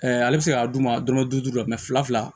ale bɛ se k'a d'u ma dɔrɔmɛ duuru la fila fila